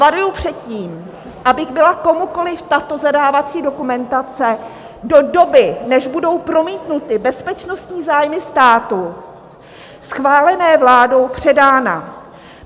Varuji před tím, aby byla komukoliv tato zadávací dokumentace do doby, než budou promítnuty bezpečnostní zájmy státu schválené vládou, předána.